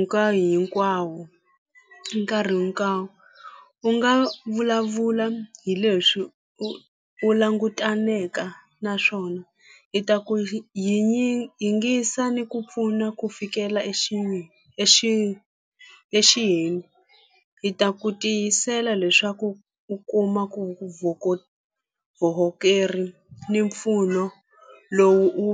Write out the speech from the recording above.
nkarhi hinkwawo hi nkarhi hinkwawo u nga vulavula hi leswi u u langutaneke na naswona hi ta ku yingisa ni ku pfuna ku fikela hi ta ku tiyisela leswaku u kuma ku ni mpfuno lowu u .